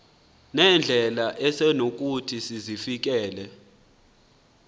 nendlela esonokuthi sizifikelele